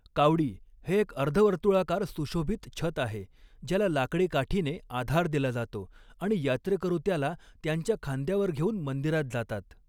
कावडी हे एक अर्धवर्तुळाकार, सुशोभित छत आहे ज्याला लाकडी काठीने आधार दिला जातो आणि यात्रेकरू त्याला त्यांच्या खांद्यावर घेऊन मंदिरात जातात.